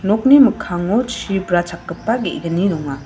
nokni mikkango chi brachakgipa ge·gni donga.